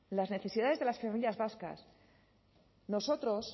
las necesidades de las familias vascas nosotros